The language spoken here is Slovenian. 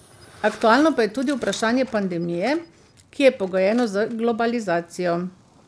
Aktualno pa je tudi vprašanje pandemije, ki je pogojeno z globalizacijo.